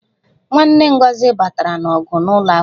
Nwanne Ngozi batara n'ọgụ n'ụlọ akwụkwọ